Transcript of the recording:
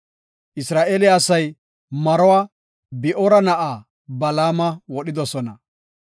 Isra7eele asay maruwa, Bi7oora na7aa, Balaama wodhidosona.